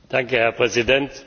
Herr Präsident!